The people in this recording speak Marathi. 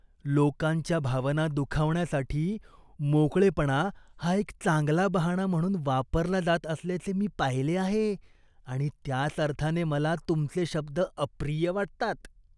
लोकांच्या भावना दुखावण्यासाठी मोकळेपणा हा एक चांगला बहाणा म्हणून वापरला जात असल्याचे मी पाहिले आहे आणि त्याच अर्थाने मला तुमचे शब्द अप्रिय वाटतात.